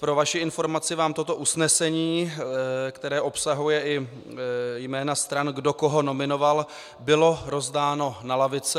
Pro vaši informaci vám toto usnesení, které obsahuje i jména stran, kdo koho nominoval, bylo rozdáno na lavice.